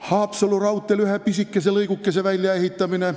Haapsalu raudtee ühe pisikese lõigukese väljaehitamine.